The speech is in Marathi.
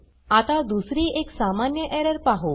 आता दुसरी एक सामान्य एरर पाहु